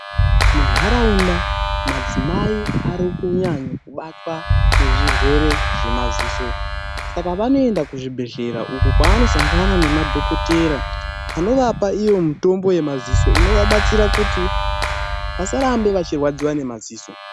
Munharaunda ,madzimai arikunyanyobatwa nezvirwere zvemaziso. Saka vanoenda kuzvibhedhlera uko kwavanosangana nemadhokodheya anovapa iyo mitombo yemaziso inovabatsira kuti vasarambe vachirwadziwa nemaziso.